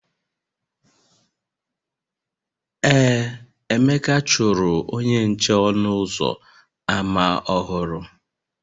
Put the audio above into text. Ee, Emeka chụrụ onye nche ọnụ ụzọ ámá ọhụrụ